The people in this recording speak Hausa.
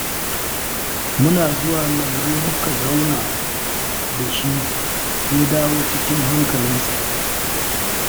Muna zuwa lambu muka zauna da shi, ya dawo cikin hankalinsa